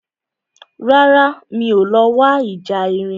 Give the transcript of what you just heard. Rárá, mi ò lọ wo ìjà erin